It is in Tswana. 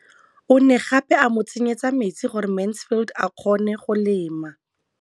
O ne gape a mo tsenyetsa metsi gore Mansfield a kgone go lema.